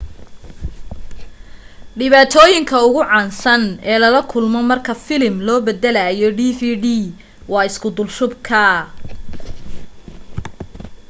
dhibaatooyinka ugu caansan ee lala kulmo marka filim loo baddalayo dvd waa isku dulshubka